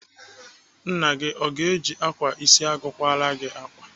Nna gị o ga-eji ákwà isi agụ akwara gị ákwà?